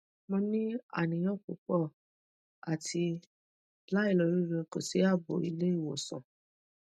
mo ni aniyan pupo ati lailoriire ko si abo ile iwosan